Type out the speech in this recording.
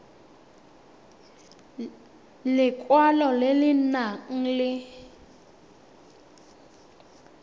lekwalo le le nang le